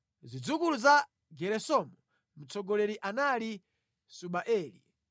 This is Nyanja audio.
Zidzukulu za Geresomu: Mtsogoleri anali Subaeli.